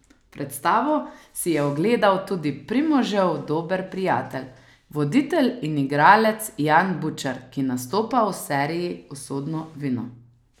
Predstavo si je ogledal tudi Primožev dober prijatelj, voditelj in igralec Jan Bučar, ki nastopa v seriji Usodno vino.